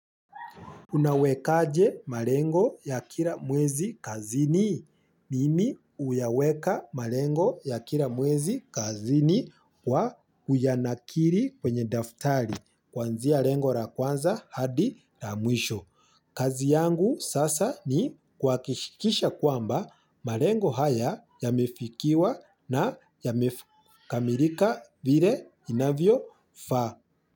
Unawekaje malengo ya kila mwezi kazini. Mimi huyaweka malengo ya kila mwezi kazini kwa kuyanakiri kwenye daftari kwanzia lengo la kwanza hadi la mwisho. Kazi yangu sasa ni kwa kuhakikisha kwamba malengo haya yamefikiwa na yamekamilika vile inavyofaa.